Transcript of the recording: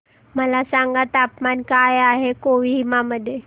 मला सांगा तापमान काय आहे कोहिमा मध्ये